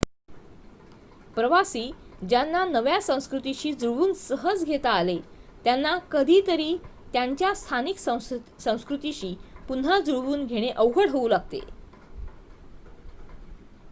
प्रवासी ज्यांना नव्या संस्कृतीशी जुळवून सहज घेता आले त्यांना कधी तरी त्यांच्या स्थानिक संस्कृतीशी पुन्हा जुळवून घेणे अवघड होऊ लागते